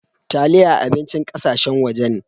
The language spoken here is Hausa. Taliyah abincin ƙasashen waje ne.